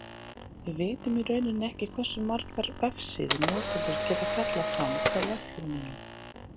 Við vitum í rauninni ekki hversu margar vefsíður notendur geta kallað fram frá vefþjóninum.